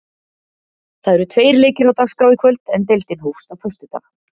Það eru tveir leikir á dagskrá í kvöld, en deildin hófst á föstudag.